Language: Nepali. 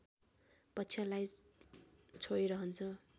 पक्षलाई छोई रहन्छ